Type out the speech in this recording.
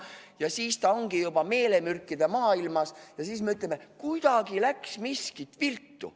Ja siis ta ongi juba meelemürkide maailmas, meie aga ütleme, et midagi läks viltu.